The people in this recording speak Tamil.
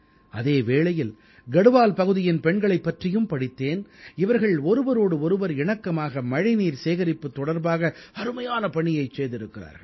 அதே வேளையில் கட்வால் பகுதியின் பெண்களைப் பற்றியும் படித்தேன் இவர்கள் ஒருவரோடு ஒருவர் இணக்கமாக மழைநீர் சேகரிப்பு தொடர்பாக அருமையான பணியைச் செய்திருக்கிறார்கள்